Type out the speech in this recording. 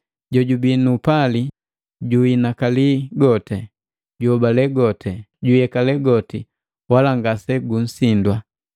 Jojubii nu upali juhinakali goti, juobale goti, juyekale goti wala ngasegusindwa.